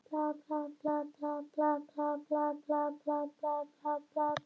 Lætur ekki á sig fá þó að það sé þessi snúður á henni.